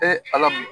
alam